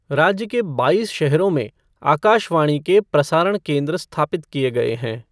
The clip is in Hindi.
राज्य के बाईस शहरों में आकाशवाणी के प्रसारण केन्द्र स्थापित किए गए हैं।